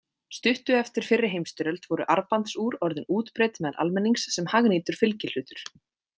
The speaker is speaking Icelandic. Stuttu eftir fyrri heimsstyrjöld voru armbandsúr orðin útbreidd meðal almennings sem hagnýtur fylgihlutur.